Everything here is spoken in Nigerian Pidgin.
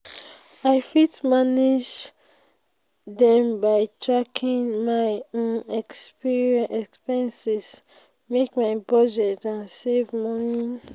i fit manage dem by tracking my expenses make my budget and save money.